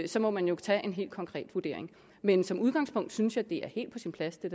så må man jo tage en helt konkret vurdering men som udgangspunkt synes jeg det er helt på sin plads det